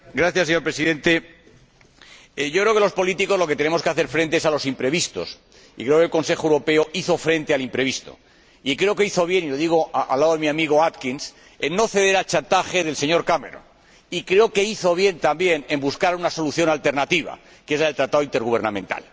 Señor Presidente, yo creo que los políticos a lo que tenemos que hacer frente es a los imprevistos, y yo creo que el Consejo Europeo hizo frente al imprevisto, y creo que hizo bien —y lo digo al lado de mi amigo Atkins— en no ceder al chantaje del señor Cameron, y creo que hizo bien también en buscar una solución alternativa, que es el tratado intergubernamental.